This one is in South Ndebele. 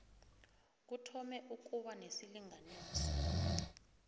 kuthome ukuba nesilinganiso